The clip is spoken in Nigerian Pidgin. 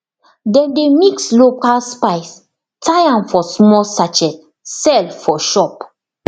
dem dey mix local spice tie am for small sachet sell for shop